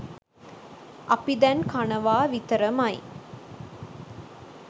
අපි දැන් කනවා විතර ම යි!